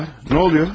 Nə baş verir?